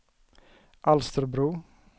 Alsterbro